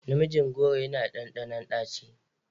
Namijin goro yana da ɗanɗanon ɗaci.